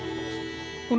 hún